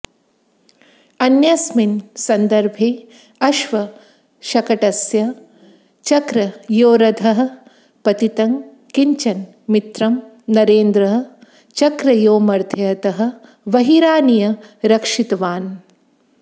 अन्यस्मिन् सन्दर्भे अश्वशकटस्य चक्रयोरधः पतितं किञ्चन मित्रं नरेन्द्रः चक्रयोर्मध्यतः बहिरानीय रक्षितवान्